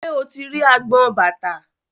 Ṣé o ti rí agbọn bàtà?